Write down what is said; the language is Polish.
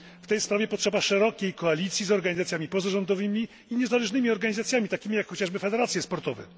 W tej sprawie potrzeba szerokiej koalicji z organizacjami pozarządowymi i niezależnymi, takimi jak chociażby federacje sportowe.